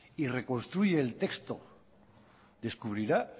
y reconstruye el texto descubrirá